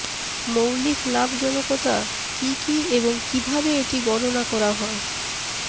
মৌলিক লাভজনকতা কি কি এবং কিভাবে এটি গণনা করা হয়